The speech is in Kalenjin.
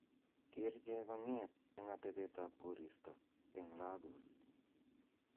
geer chegong'eet en atebtab koristo en lagos